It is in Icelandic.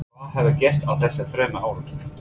Hvað hafði gerst á þessum þremur árum?